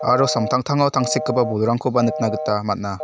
aro samtangtango tangsekgipa bolrangkoba nikna gita man·a.